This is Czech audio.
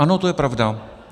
Ano, to je pravda.